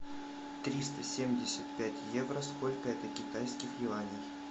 триста семьдесят пять евро сколько это китайских юаней